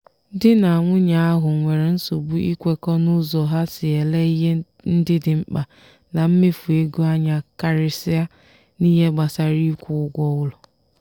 di na nwunye ahụ nwere nsogbu ikwekọ n'ụzọ ha si ele ihe ndị dị mkpa na mmefu ego anya karịsịa n'ihe gbasara ịkwụ ụgwọ ụlọ.